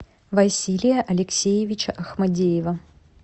василия алексеевича ахмадеева